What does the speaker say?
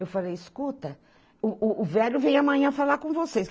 Eu falei, escuta, o o o velho vem amanhã falar com vocês.